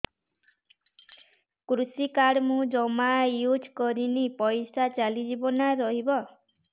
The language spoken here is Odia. କୃଷି କାର୍ଡ ମୁଁ ଜମା ୟୁଜ଼ କରିନି ପଇସା ଚାଲିଯିବ ନା ରହିବ